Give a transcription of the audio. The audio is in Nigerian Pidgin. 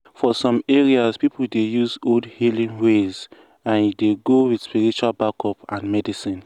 for some areas people dey use old healing ways and e dey go with spiritual backup and medicine.